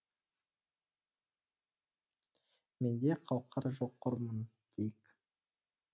менде қауқар жоқ қормын дейік